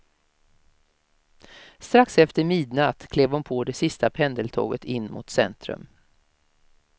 Strax efter midnatt klev hon på det sista pendeltåget in mot centrum.